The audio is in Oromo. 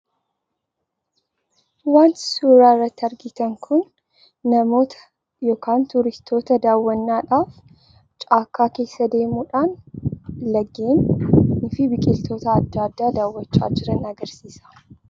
Wanti suuraa irratti arginu kun namoota yookiin turistoota daawwannaadhaaf caakkaa keessa deemuudhaan laggeen adda addaa daawwachaa jiran agarsiisa.